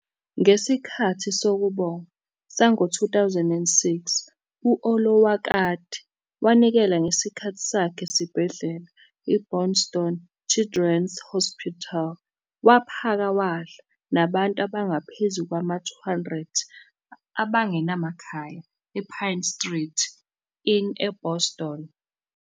Ngesikhathi Sokubonga sango-2006, u-Olowokandi wanikela ngesikhathi sakhe esibhedlela i- Boston Children's Hospital waphaka wadla nabantu abangaphezu kwama-200 abangenamakhaya ePine Street Inn eBoston.